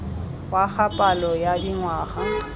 wa ga palo ya dingwaga